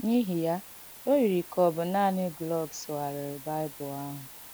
N’īhị ya, o yiri ka ọ̀ bụ̀ nánị̀ Glück sùghàrìị̀ Baịbụl àhụ̀.